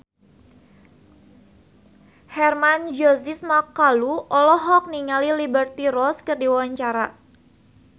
Hermann Josis Mokalu olohok ningali Liberty Ross keur diwawancara